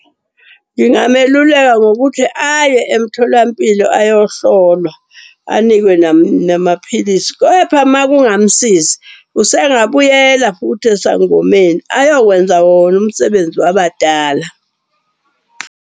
Ngingameluleka ngokuthi aye emtholampilo ayohlolwa anikwe namaphilisi. Kepha makungamsizi, usengabuyela futhi esangomeni ayokwenza wona umsebenzi wabadala.